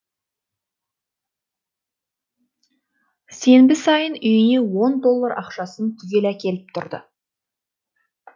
сенбі сайын үйіне он доллар ақшасын түгел әкеліп тұрды